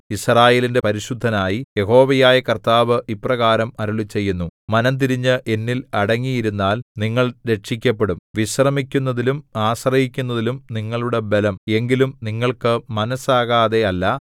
യിസ്രായേലിന്റെ പരിശുദ്ധനായി യഹോവയായ കർത്താവ് ഇപ്രകാരം അരുളിച്ചെയ്യുന്നു മനംതിരിഞ്ഞ് എന്നില്‍ അടങ്ങിയിരുന്നാൽ നിങ്ങൾ രക്ഷിക്കപ്പെടും വിശ്രമിക്കുന്നതിലും ആശ്രയിക്കുന്നതിലും നിങ്ങളുടെ ബലം എങ്കിലും നിങ്ങൾക്ക് മനസ്സാകാതെ അല്ല